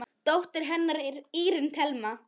Dóttir hennar er Árný Thelma.